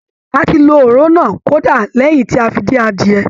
A ti lo òróró náà, kódà lẹ́yìn tí a fi dín adìyẹ.